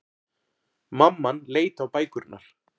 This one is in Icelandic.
Mamman leit á bækurnar.